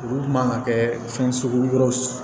Olu man kan ka kɛ fɛn sugu wɛrɛw ye